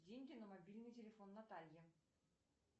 деньги на мобильный телефон наталье